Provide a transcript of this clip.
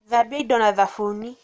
Thambia indo na thabuni.